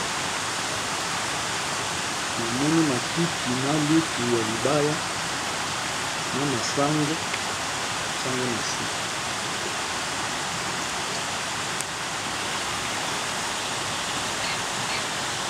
Namoni matiti na lutu ya libaya na masango batie ngo na se.